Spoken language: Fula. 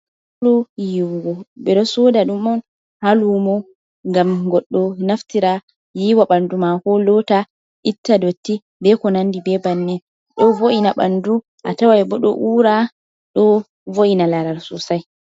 Sabulu yiwugo, ɓeɗosoda ɗum on ha lumo, ngam goɗɗo naftira yiwa ɓandu mako, lota itta dotti be ko nandi be bannen. ɗo vo’ina ɓandu a tawai bo ɗo u"ra ɗo vo’ina laral sosai.